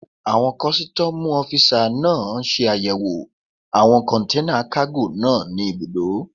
Àwọn kọ́sítọ́mù ọ́fisà náà ṣe àyẹ̀wò àwọn kọ̀nténà kágò náà ní ibùdó